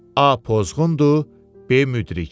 A pozğundur, B müdrik.